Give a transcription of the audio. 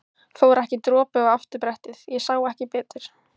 Fór ekki dropi á afturbrettið. ég sá ekki betur!